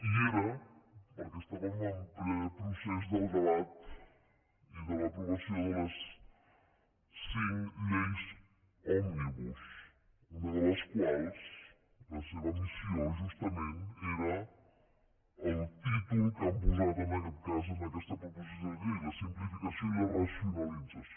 i era perquè estàvem en ple procés del debat i de l’aprovació de les cinc lleis òmnibus una de les quals la seva missió justament era el títol que han posat en aquest cas en aquesta proposició de llei la simplificació i la racionalització